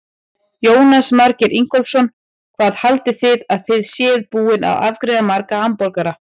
Jónas Margeir Ingólfsson: Hvað haldið þið að þið séuð búin að afgreiða marga hamborgara?